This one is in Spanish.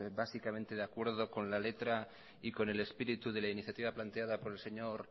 básicamente de acuerdo con la letra y con el espíritu de la iniciativa planteada por el señor